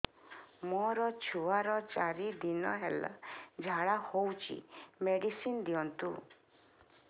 ମୋର ଛୁଆର ଚାରି ଦିନ ହେଲା ଝାଡା ହଉଚି ମେଡିସିନ ଦିଅନ୍ତୁ